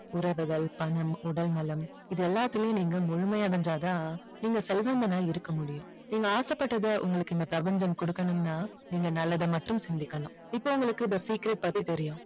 உறவுகள் பணம் உடல்நலம் இது எல்லாத்தையும் நீங்க முழுமையா வென்றால் தான் நீங்க செல்வந்தனா இருக்க முடியும் நீங்க ஆசைபட்டதை உங்களுக்கு இந்த பிரபஞ்சம் கொடுக்கணும்னா நீங்க நல்லத மட்டும் சிந்திக்கணும் இப்போ உங்களுக்கு இந்த secret பத்தி தெரியும்